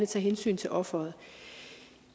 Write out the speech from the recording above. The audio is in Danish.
tage hensyn til offeret